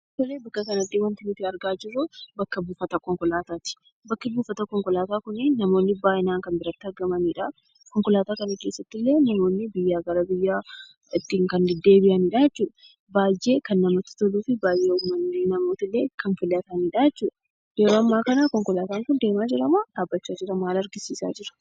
Tole, bakka kanatti wanti nuti argaa jirru, bakka buufata Konkolaataati. Bakki buufata Konkolaataa kuni namooni baay'inaan kan biraatti argamanidha. Konkolaataa kana keessatti illee, namooni biyyaa gara biyyaa ittiin kan dedeebi'anidha jechuudha. Baay'ee kan namatti toluu fi baay'ee uummanni, namooni illee kan filatanidha jechuudha. Yeroo ammaa kana Konkolataan kun deemaa jira moo dhaabbachaa jira? Maal argisisa jira?